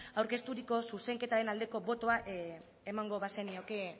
aurkezturiko zuzenketaren aldeko botoa emango bazenioke